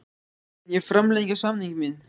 Mun ég framlengja samning minn?